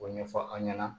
O ɲɛfɔ aw ɲɛna